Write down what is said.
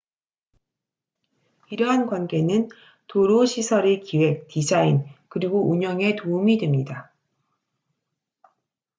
이러한 관계는 도로 시설의 기획 디자인 그리고 운영에 도움이 됩니다